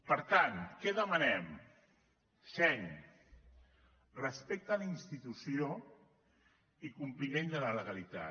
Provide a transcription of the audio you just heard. per tant què demanem seny respecte a la institució i compliment de la legalitat